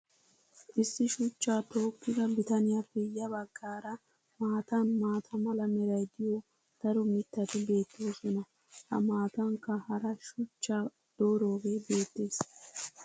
Issi shuchchaa tookida bitanniyaappe ya bagaara matan maata mala meray diyo daro mitati beetoosona. a matankka hara shuchchaa doorooge beetees.